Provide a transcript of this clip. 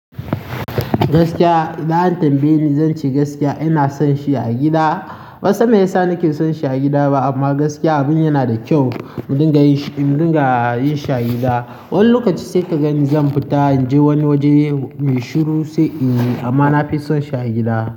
Gaskiya, za a tambaye ni, zan ce gaskiya. Ina son shi a gida. Ban san mai ya sa nake son shi a gida ba, amma gaskiya abin yana da kyau. Mu dinga yin shi, mu dinga yin shi a gida. Wani lokaci sai ka gani zan fita in je wani waje mai shiru sai in yi, amma na fi son shi a gida.